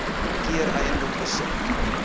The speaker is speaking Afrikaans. keer eiendom besit